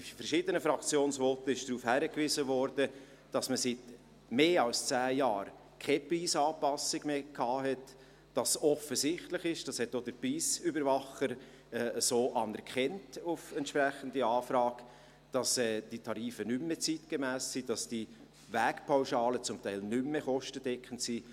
In verschiedenen Fraktionsvoten wurde darauf hingewiesen, dass man seit mehr als zehn Jahren keine Preisanpassung mehr hatte, dass es offensichtlich ist – dies hat auf entsprechende Anfrage auch der Preisüberwacher so anerkannt –, dass die Tarife nicht mehr zeitgemäss sind, dass die Wegpauschalen zum Teil nicht mehr kostendeckend sind.